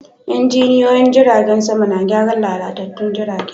Injiniyoyin jiragen sama na gyaran lalatattun jirage.